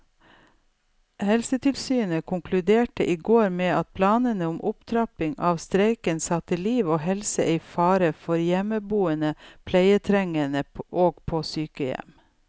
Helsetilsynet konkluderte i går med at planene om opptrapping av streiken satte liv og helse i fare for hjemmeboende pleietrengende og på sykehjem.